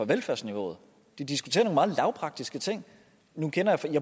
velfærdsniveauet de diskuterer nogle meget lavpraktiske ting nu